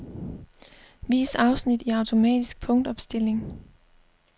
Vis afsnit i automatisk punktopstilling.